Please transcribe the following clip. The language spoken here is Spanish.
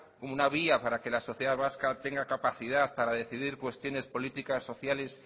una vía para que la sociedad vasca tenga capacidad para decidir cuestiones políticas sociales